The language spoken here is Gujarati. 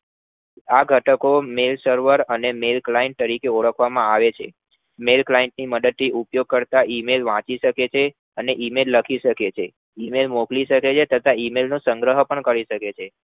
આ ઘટકો main server અને main client તરીકે ઓળખવામાં આવે છે main client ની મદદ થી ઉપયોગ કરતા email વાંચી શકે છે અન email લખી શકે છે અને email મોકલી શકે છે તથા email સંગ્રહ પણ કરી શકે છે